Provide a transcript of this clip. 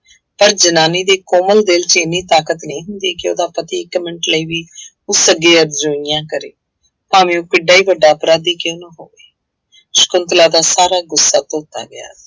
ਪਰ ਜਨਾਨੀ ਦੇ ਕੋਮਲ ਦਿਲ ਚ ਇੰਨੀ ਤਾਕਤ ਨਹੀਂ ਹੁੰਦੀ ਕਿ ਉਹਦਾ ਪਤੀ ਇੱਕ ਮਿੰਟ ਲਈ ਵੀ ਉਸ ਅੱਗੇ ਅਰਜੋਈਆਂ ਕਰੇ ਭਾਵੇਂ ਉਹ ਕਿੱਡਾ ਵੀ ਵੱਡਾ ਅਪਰਾਧੀ ਕਿਉਂ ਨਾ ਹੋਵਾ, ਸਕੁੰਤਲਾ ਦਾ ਸਾਰਾ ਗੁੱਸਾ ਧੋਤਾ ਗਿਆ।